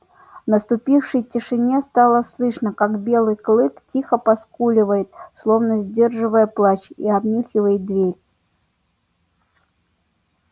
в наступившей тишине стало слышно как белый клык тихо поскуливает словно сдерживая плач и обнюхивает дверь